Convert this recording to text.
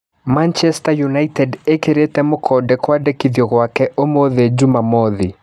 Manchester Yunaitedi ĩ kĩ rĩ te mũkonde kwandĩ kithio gwake ũmũthĩ Jumamothi.